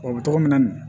O bɛ tɔgɔ min na nin